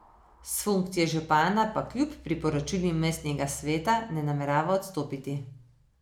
S funkcije župana pa kljub priporočilu mestnega sveta ne namerava odstopiti.